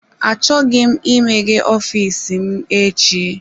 Achọghị m imeghe ọfịs m echi.